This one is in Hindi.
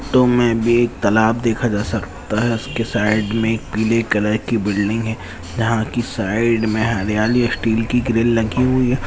तो मैं भी तालाब देखा जा सकता है उसके साइड में पीले कलर की बिल्डिंग है जहां की साइड में हरियाली स्टील की ग्रिल लगी हुई।